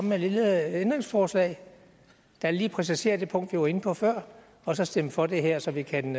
med et lille ændringsforslag der lige præciserer det punkt jeg var inde på før og så stemme for det her så vi kan